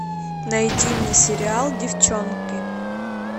найди мне сериал девчонки